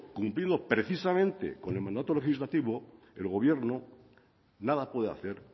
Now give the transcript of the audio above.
cumpliendo precisamente con el mandato legislativo el gobierno nada puede hacer